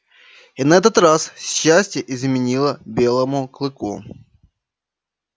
и на этот раз счастье изменило белому клыку